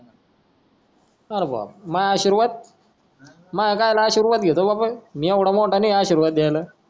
R बापरे नाय आशिर्वाद भायेर जायला आशिर्वाद घेतो का आपण मी येवडा मोठा नाय आशिर्वाद देयाला